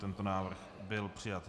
Tento návrh byl přijat.